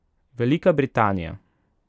Velika Britanija ...